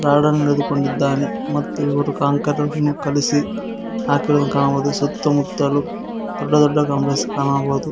ರಾಡ ನ್ನು ಹಿಡಿದುಕೊಂಡಿದ್ದಾನೆ ಮತ್ತು ಇವರು ಕಾಂಕ್ರೀಟ್ ಅನ್ನು ಕಲಿಸಿ ಹಾಕುತ್ತಿರುವುದು ಕಾಣಬಹುದು ಸುತ್ತಮುತ್ತಲು ದೊಡ್ಡ ದೊಡ್ಡ ಕಾಂಕ್ರೀಟ್ಸ್ ಕಾಣಬಹುದು.